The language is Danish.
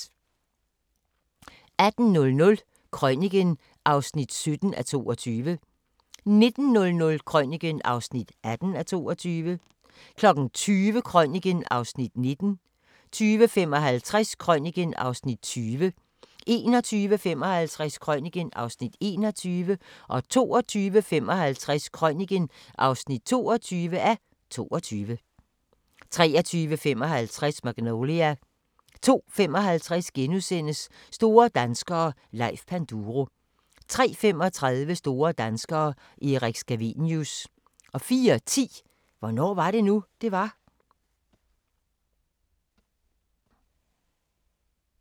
18:00: Krøniken (17:22) 19:00: Krøniken (18:22) 20:00: Krøniken (19:22) 20:55: Krøniken (20:22) 21:55: Krøniken (21:22) 22:55: Krøniken (22:22) 23:55: Magnolia 02:55: Store danskere - Leif Panduro * 03:35: Store danskere – Erik Scavenius 04:10: Hvornår var det nu, det var?